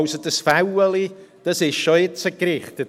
Diese Stellschraube ist also schon jetzt gerichtet.